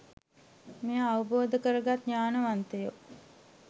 මෙය අවබෝධ කරගත් ඥානවන්තයෝ